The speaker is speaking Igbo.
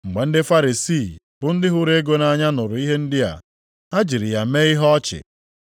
Mgbe ndị Farisii, bụ ndị hụrụ ego nʼanya nụrụ ihe ndị a, ha jiri ya mee ihe ọchị.